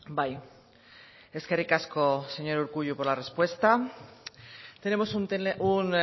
bai eskerrik asko señor urkullu por la respuesta tenemos un